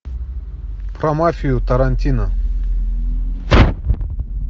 про мафию тарантино